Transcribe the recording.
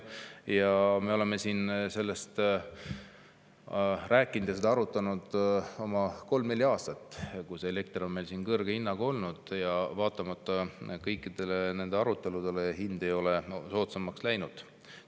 Ja me oleme siin seda arutanud oma kolm-neli aastat, kus elekter on meil kõrge hinnaga olnud, ja vaatamata kõikidele nendele aruteludele hind ei ole soodsamaks läinud.